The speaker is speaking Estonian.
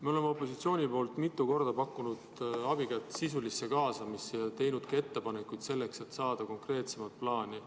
Me oleme opositsiooni poolt mitu korda pakkunud abikätt sisulisse kaasamisse ja teinud ettepanekuid selleks, et saada konkreetsemat plaani.